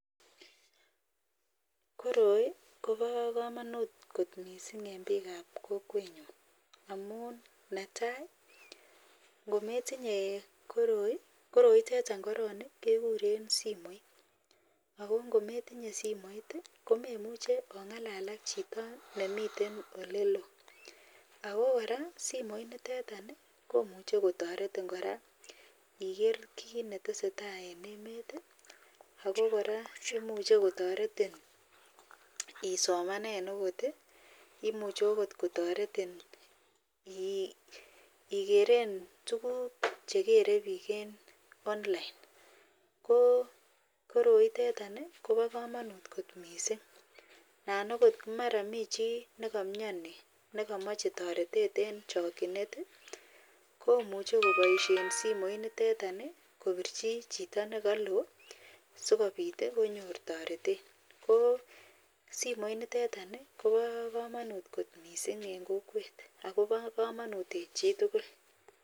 Koroi ko ba kamanut kot mising en bik ab kokwet nyun amun netai kometinye koroitetan koroitetan korong kekuren simoit akongometinyebsimoit komemuche ongalal ak Chito nemiten olelon ako koraa simoit niton komuche kotaretin koraa Iger kit netesetai en emet akokoraa komuche kotaretin isomanen okot akomuche kotaretin igeren tuguk cheakere bik en online ko koroi itetan ko ba kamanut kot mising anan okot komara mi chi nekamiani nekamache taretet en chakinet komuche kobaishen simoit niteton kobirchi Chito nekalon sikobit konyor taretet kobsimoit niteton kobakamanut kot mising en kokwet akobo kamanut en chitugul.